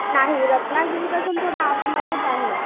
नाही रत्नागिरी पासून थोडे आतमध्येच आहे.